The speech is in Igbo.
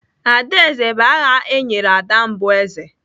Adaeze bụ aha e nyere ada mbụ eze.